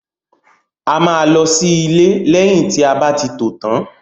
A máa lọ sí ilé lẹyìn tí a bá ti tò tán.